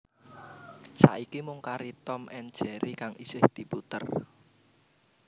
Saiki mung kari Tom and Jerry kang isih diputer